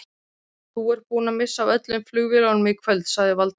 Þú ert búinn að missa af öllum flugvélum í kvöld sagði Valdimar.